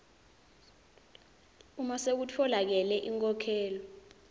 uma sekutfolakele inkhokhelo